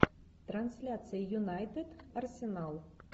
трансляция юнайтед арсенал